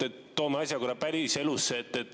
Toome asja päriselusse.